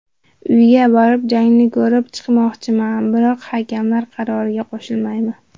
Uyga borib, jangni ko‘rib chiqmoqchiman, biroq hakamlar qaroriga qo‘shilmayman.